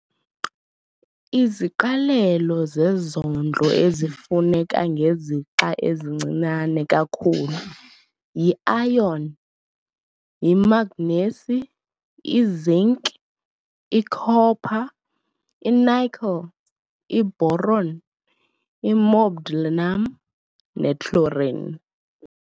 Iziqalelo zezondlo ezifuneka ngezixa ezincinane kakhulu yi-iron, yi-mangnesi, i-zinc, i-copper, i-nickel, i-boron, i-molybdenum ne-chlorine.